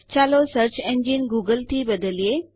ચાલો search engine Google થી બદલીએ